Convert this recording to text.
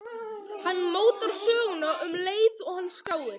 Hann mótar söguna um leið og hann skráir.